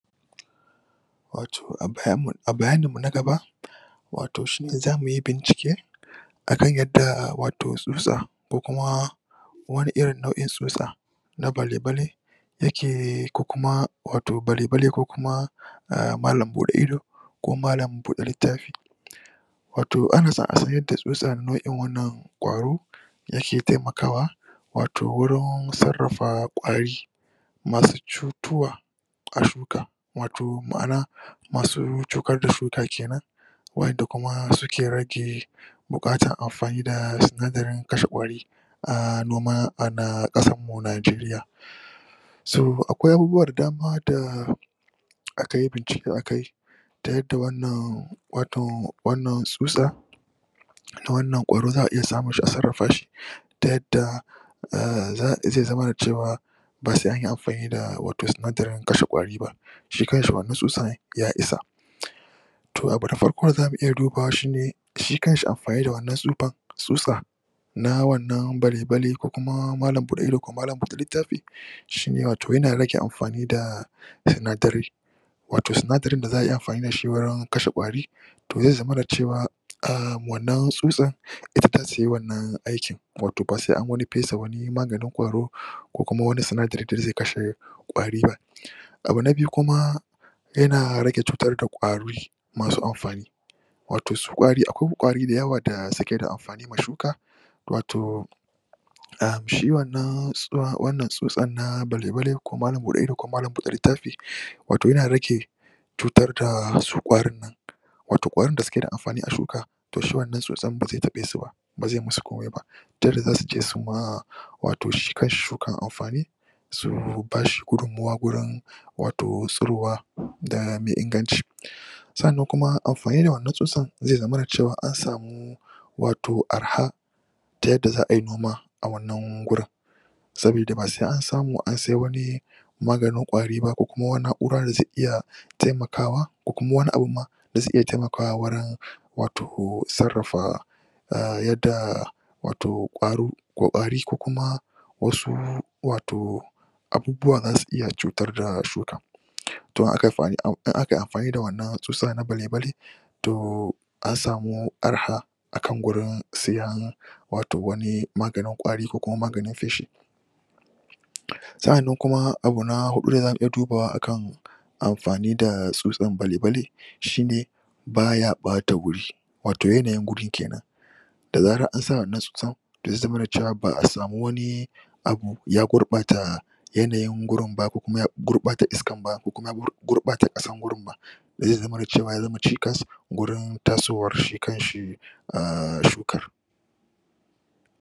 Wato a bayaninmu na gaba wato shi ne za mu yi bincike A kan yadda wato tsutsa ko kuma wani irin nau'in tsutsa na bale-bale yake bale-bale ko kuma malam buɗe ido ko malam buɗe littafi Wato ana son a samu nau'in wannan ƙwaro da ke taimakawa wato wurin sarrafa ƙwari ma su cutuwa a shuka. Ma'an wato masu cutar da shuka ke nan. waɗan da kuma suke rage buƙatar amfani da sinadarin kashe ƙwari a noma anan ƙasarmu Najeriya. So akwai abubuwa da dama da aka yi bincike a kai ta yadda wannan wato wannan tsutsa ta wannan ƙwaro za a iya samun shi a sarrafa shi ta yadda zai zamana cewa ba sai yi yi amfani da sinadarin kashe ƙwari ba, shi kanshi wannan tsutsan ya isa. To abu nafarko da za mu iya dubawa shi kanshi amfani da wannan tsutsan, tsutsa na wannan bale-bale ko malam buɗe ido ko malam buɗe littafi shi ne wato yana rage amfani da sinadarai wato sinadarin da za a yi amfani da shi wajen kashe ƙwari to zai zamana cewa wannan tsutsar ita za ta yi wannan aikin ba sai an wani fesa wani maganin ƙwaro ko kuma wani sindarin da zai iya kashe ƙwari ba. Abu na biyu kuma yana rage cutar da ƙwari masu amfani wato su ƙwari akwai ƙwari da yawa masu amfani ma shuka a shi wannan tsutsan na bale-bale ko malam buɗe ido ko malam buɗe littafi wato yana rage cutar da su ƙwarin nan wato ƙwarin da suke da amfani da shuka, shi wannan tsutsan ba zai taɓe su ba ba zai masu komai ba ta yadda za su je su yi ma shi kanshi shukan amfani so, ba shi gudunmuwa wajen tsirowa da mai inganci sannan kuma amfani da wannan tsutsan zai zamana cewa an samu wato arha ta yadda za ai noma a wannan wurin. Sabida ba sai an samu an sai maganin ƙwari ba ko kuma wani na'ura da zai iya taimakawa ba. Ko kuma ma wani abun ma za tai iya taimakawa wato wajen sarrafa a yadda wato ƙwaro ko ƙwari ko kuma wasu wato abubuwa za su iya cutar da shuka. to in a kai amfani da wannan tsutsa na bale-bale to an samu arha. a kan gurin siyan wato wani maganin ƙwari ko maganin feshi. sa'annan kuma abu na huɗu da za mu iya dubawa a kan amfani da tsutsan bale-bale shi ne baya ɓata wuri, wato yanayin wurin ke nan. da zarar an sa wann tsutsan zai zamana cewa ba a samu wani abu ya gurɓata yanayin gurin ba, ko kuma ya gurɓata iskan ba ko kuma ya gurɓata ƙasan gurin ba. ba zai zamana cewa ya zama cikas wajen tasowar shi kan shi shukar.